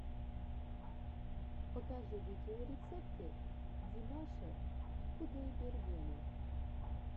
покажи видеорецепты димаша кудайбергена